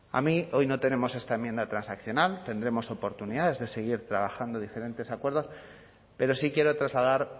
a mí hoy no tenemos esta enmienda transaccional tendremos oportunidades de seguir trabajando diferentes acuerdos pero sí quiero trasladar